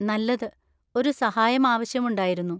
നല്ലത്. ഒരു സഹായം ആവശ്യമുണ്ടായിരുന്നു.